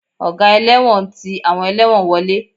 Ọ̀gá ẹlẹ́wọ̀n ń ti àwọn ẹlẹ́wọ̀n wọlé